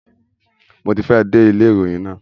Mo ti fẹ́ ẹ̀ dé ilé ìròyìn náà.